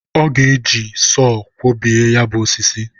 o ga-eji sọ kwọbie ya bụ osisi.